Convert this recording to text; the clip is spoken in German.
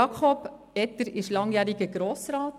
Jakob Etter ist langjähriger Grossrat.